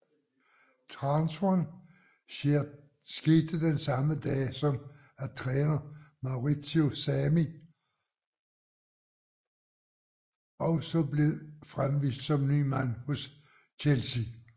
Transferen skete den samme dag som at træner Maurizio Sarri også blev fremvist som ny mand hos Chelsea